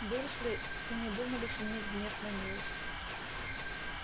дурсли и не думали сменить гнев на милость